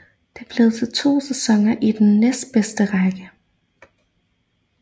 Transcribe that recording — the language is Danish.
Det blev til to sæsoner i den næstbedste række